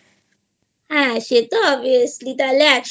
হ্যাঁ সে Obviously তাহলে একসাথে